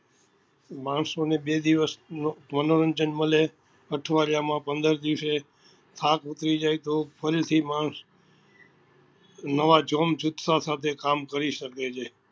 માણસો ને બે દિવસ મનોરંજન મળે અઠવાડિયા માં પંદર દિવસે થાક ઉતરી જાય તો ફરી થી માણસ નવા જોમ જુથ્હા સાથે કામ કરી સકે છે